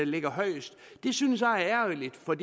ligger højest det synes jeg er ærgerligt for